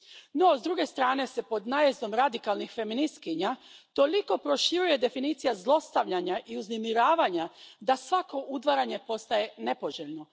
No s druge se strane pod najezdom radikalnih feministkinja toliko proširuje definicija zlostavljanja i uznemiravanja da svako udvaranje postaje nepoželjno.